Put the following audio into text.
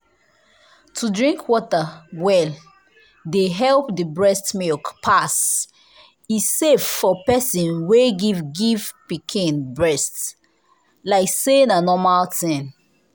to drink water well dey help the breast milk pass. e safe for person wey give give pikin breast… like say na normal thing.